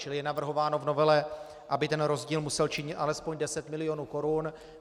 Čili je navrhováno v novele, aby ten rozdíl musel činit alespoň 10 mil. korun.